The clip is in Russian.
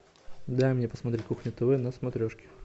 дай мне посмотреть кухня тв на смотрешке